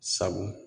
Sabu